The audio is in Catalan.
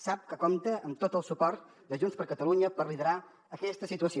sap que compta amb tot el suport de junts per catalunya per liderar aquesta situació